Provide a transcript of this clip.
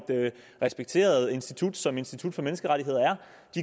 respekteret institut som institut for menneskerettigheder